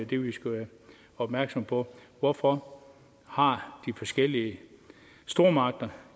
det vi skal være opmærksomme på hvorfor har de forskellige stormagter